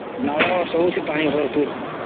ନାଲ ସବୁଥିରେ ପାଣି ଭରପୁର୍